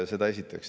Seda esiteks.